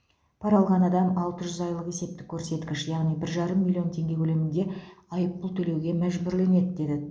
пара алған адам алты жүз айлық есептік көрсеткіш яғни бір жарым миллион теңге көлемінде айыппұл төлеуге мәжбүрленеді деді